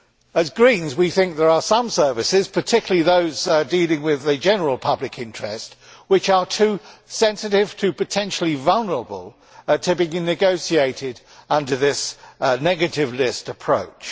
As Greens, we think there are some services, particularly those dealing with the general public interest, which are too sensitive and too potentially vulnerable to be negotiated under this negative list' approach.